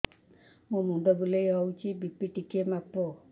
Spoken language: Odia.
ମୋ ମୁଣ୍ଡ ବୁଲେଇ ହଉଚି ବି.ପି ଟିକେ ମାପ